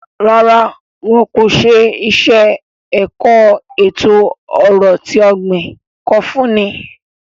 Rárá, wọn ko ṣe iṣẹ-ẹkọ eto-ọrọ ti ogbin ko funni